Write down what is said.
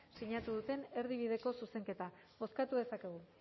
sinatu duten erdibideko zuzenketa bozkatu dezakegu